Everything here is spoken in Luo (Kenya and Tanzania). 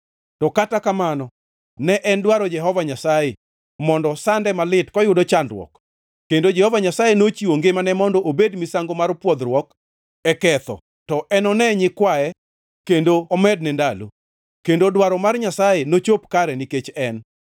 To kata kamano ne en dwaro Jehova Nyasaye mondo sande malit koyudo chandruok, kendo Jehova Nyasaye nochiwo ngimane mondo obed misango mar pwodhruok e ketho, to enone nyikwaye kendo omedne ndalo, kendo dwaro mar Nyasaye nochop kare nikech en.